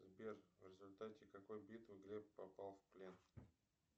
сбер в результате какой битвы глеб попал в плен